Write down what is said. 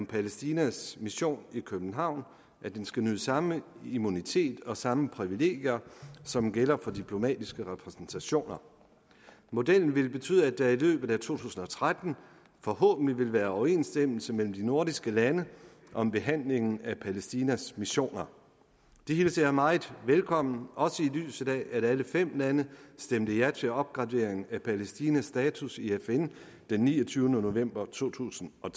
palæstinas mission i københavn skal nyde samme immunitet og samme privilegier som gælder for de diplomatiske repræsentationer modellen vil betyde at der i løbet af to tusind og tretten forhåbentlig vil være overensstemmelse mellem de nordiske lande om behandlingen af palæstinas missioner det hilser jeg meget velkomment også i lyset af at alle fem lande stemte ja til en opgradering af palæstinas status i fn den niogtyvende november to tusind og